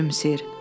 Gülümsəyir.